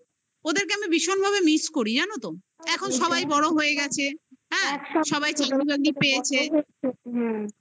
ওদেরকে আমি ভীষণভাবে miss করি জানো তো? এখন সবাই বড় হয়ে গেছে হ্যা একদম সবাই চাকরি বাকরি পেয়েছে হ্যা